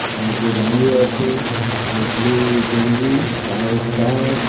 আর যে দাঁড়িয়ে আছে ও ব্লু গেঞ্জি হোয়াইট প্যান্ট .